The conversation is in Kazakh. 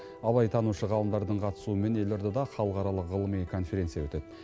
абайтанушы ғалымдардың қатысуымен елордада халықаралық ғылыми конференция өтеді